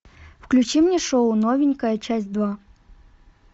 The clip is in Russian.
включи мне шоу новенькая часть два